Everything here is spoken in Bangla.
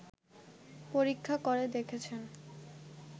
পরীক্ষা করে দেখেছেন